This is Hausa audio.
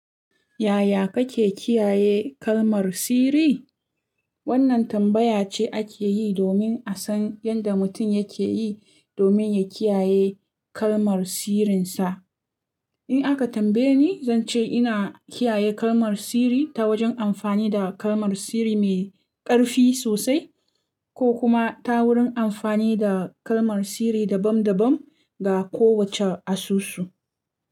Yaya kake kiyaye kalmar sirri? Wannan tambaya ce ake yi domin a san yadda mutum yake yi domin ya kiyaye kalmar sirrinsa. In aka tambaye ni, zan ce ina kiyaye kalmar sirri ta wajen amfani da kalmar sirri mai ƙarfi sosai ko kuma ta wurin amfani da kalmar sirri dabam-dabam ga kowacce asusu.